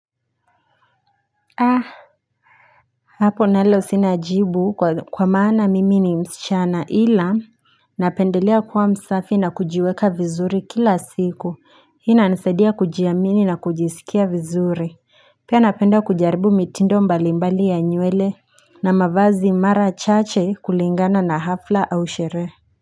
Haa hapo nalo sina jibu kwa maana mimi ni msichana ila napendelea kuwa msafi na kujiweka vizuri kila siku ina nisedia kujiamini na kujisikia vizuri pia napenda kujaribu mitindo mbali mbali ya nyuele na mavazi mara chache kulingana na hafla au shere.